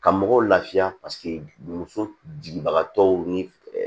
Ka mɔgɔw lafiya paseke muso jigibagaw ni